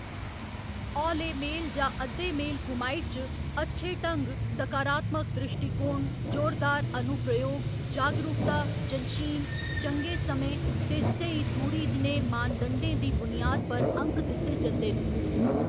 हौले मेल जां अद्धे मेल कुमाइट च, अच्छे ढंग, सकारात्मक द्रिश्टीकोण, जोरदार अनुप्रयोग, जागरूकता, जंशीन, चंगे समें ते स्हेई दूरी जनेह् मानदंडें दी बुनियाद पर अंक दित्ते जंदे न।